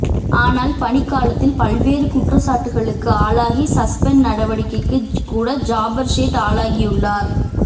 ஆனால் பணிக்காலத்தில் பல்வேறு குற்றச்சாட்டுகளுக்கு ஆளாகி சஸ்பெண்ட் நடவடிக்கைக்கு கூட ஜாபர்சேட் ஆளாகியுள்ளார்